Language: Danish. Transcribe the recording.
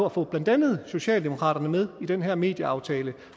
at få blandt andet socialdemokratiet med i den her medieaftale